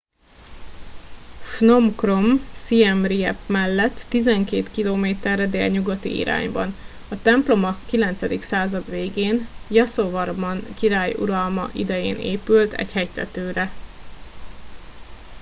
phnom krom siem reap mellett 12 km re délnyugati irányban a templom a ix század végén jaszovarman király uralma idején épült egy hegytetőre